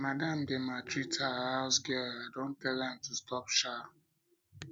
my madam dey maltreat her house girl i don tell am to stop shaa